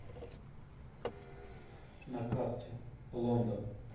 на карте лондон